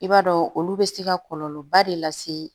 I b'a dɔn olu bɛ se ka kɔlɔlɔba de lase